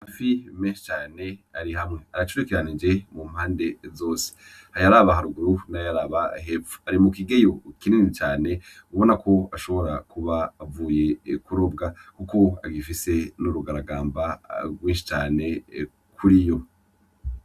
Amafi meshi cane ari hamwe aracurikiranije mu mpande zose ayaraba haruguru n'ayaraba hepfo ari mu kigeyo kinini cane ubonako ubonako ashobora kuba avuye kurobwa urabona kuko agifise n'urugaragamba rwishi cane kuriyo.